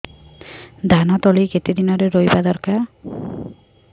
ଧାନ ତଳି କେତେ ଦିନରେ ରୋଈବା ଦରକାର